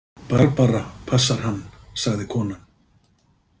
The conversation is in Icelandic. Barbara passar hann, sagði konan.